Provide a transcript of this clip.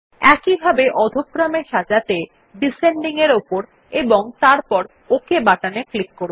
একইভাবে অধ ক্রম এ সাজাতে ডিসেন্ডিং এর উপর এবং তারপর ওক বাটনে ক্লিক করুন